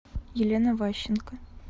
елена ващенко